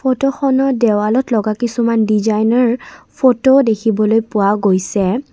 ফটোখনত দেৱালত লগা কিছুমান ডিজাইনাৰ ফটোও দেখিবলৈ পোৱা গৈছে।